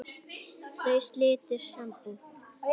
Þau slitu sambúð.